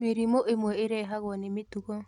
Mĩrimũ ĩmwe ĩrehagwo nĩ mĩtugo